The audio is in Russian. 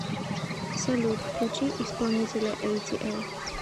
салют включи исполнителя эйтиэл